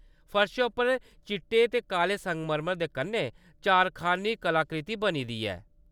फर्शै उप्पर चिट्टे ते काले संगमरमर दे कन्नै चारखान्नी कलाकृति बनी दी है।